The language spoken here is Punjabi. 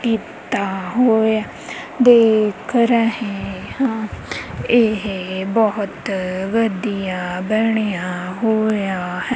ਕੀਤਾ ਹੋਇਆ ਦੇਖ ਰਹੇ ਹਾਂ ਇਹ ਬਹੁਤ ਵੱਡੀਆਂ ਬਣਿਆ ਹੋਇਆ--